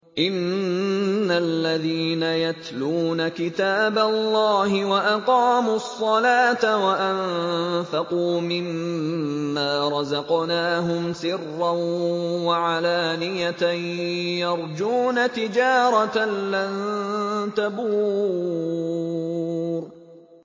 إِنَّ الَّذِينَ يَتْلُونَ كِتَابَ اللَّهِ وَأَقَامُوا الصَّلَاةَ وَأَنفَقُوا مِمَّا رَزَقْنَاهُمْ سِرًّا وَعَلَانِيَةً يَرْجُونَ تِجَارَةً لَّن تَبُورَ